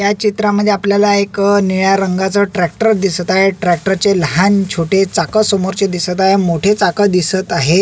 या चित्रामद्धे आपल्याला एक निळ्या रंगाचा ट्रॅक्टर दिसत आहे ट्रॅक्टरचे लहान छोटे चाक समोरचे दिसत आहे मोठे चाक दिसत आहे.